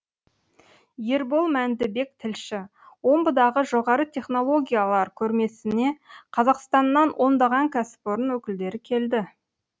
ербол мәндібек тілші омбыдағы жоғары технологиялар көрмесіне қазақстаннан ондаған кәсіпорын өкілдері келді